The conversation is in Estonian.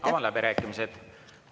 Avan läbirääkimised.